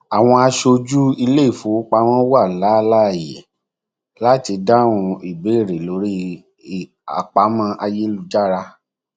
àwọn aṣojú iléifowopamọ wà láláàyè láti dáhùn ìbéèrè lórí àpamọ ayélujára